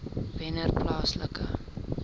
wennerplaaslike